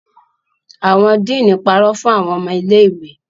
Awọn dean parọ fun awọn ọmọ ile-iwe